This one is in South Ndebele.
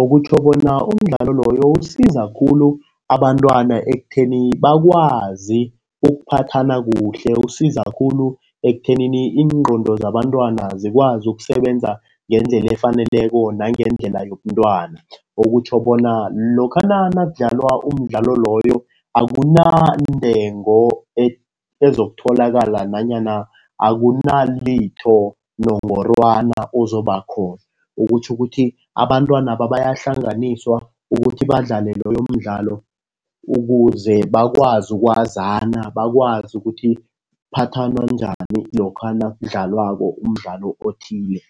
Okutjho bona umdlalo loyo usiza khulu abantwana ekutheni bakwazi ukuphathana kuhle. Usiza khulu ekuthenini iingqondo zabantwana zikwazi ukusebenza ngendlela efaneleko nangendlela yobuntwana. Okutjho bona lokha nakudlalwa umdlalo loyo akunantengo ezokutholakala nanyana akunalitho nongorwana ozobakhona. Okutjho ukuthi abantwanaba bayahlanganisa ukuthi badlale loyo mdlalo ukuze bakwazi ukwazana. Bakwazi ukuthi kuphathwana njani lokha nakudlalwako umdlalo othile.